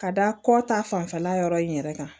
Ka da kɔ ta fanfɛla yɔrɔ in yɛrɛ kan